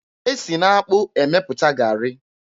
E si n'akpụ emepụta garị.